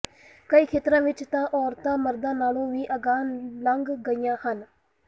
ਕਈ ਖੇਤਰਾਂ ਵਿਚ ਤਾਂ ਔਰਤਾਂ ਮਰਦਾਂ ਨਾਲੋਂ ਵੀ ਅਗਾਂਹ ਲੰਘ ਗਈਆਂ ਹਨ